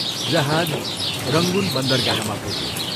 जहाज रंगून बन्दरगाहमा पुग्यो।